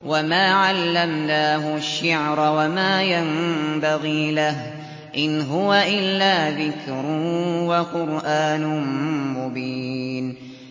وَمَا عَلَّمْنَاهُ الشِّعْرَ وَمَا يَنبَغِي لَهُ ۚ إِنْ هُوَ إِلَّا ذِكْرٌ وَقُرْآنٌ مُّبِينٌ